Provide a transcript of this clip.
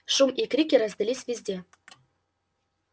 шум и крики раздались везде